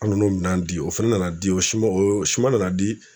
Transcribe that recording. An n'o minan di o fana nana di o siman o siman nana di